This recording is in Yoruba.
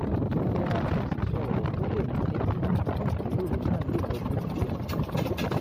mo yẹra fún sísọ ọ̀rọ̀ tó lè múni bínú kí ìjíròrò náà lè lọ bó ti yẹ